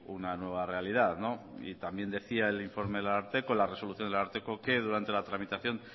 una nueva realidad no y también decía el informe del ararteko en la resolución del ararteko que durante la tramitación